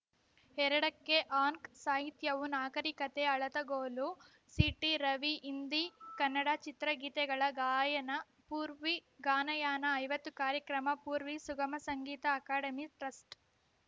ಎರಡಕ್ಕೆ ಆಂಕ ಸಾಹಿತ್ಯವು ನಾಗರಿಕತೆ ಅಳತೆಗೋಲು ಸಿಟಿ ರವಿ ಹಿಂದಿಕನ್ನಡ ಚಿತ್ರಗೀತೆಗಳ ಗಾಯನ ಪೂರ್ವಿ ಗಾನಯಾನ ಐವತ್ತು ಕಾರ್ಯಕ್ರಮ ಪೂರ್ವಿ ಸುಗಮ ಸಂಗೀತ ಅಕಾಡೆಮಿ ಟ್ರಸ್ಟ್‌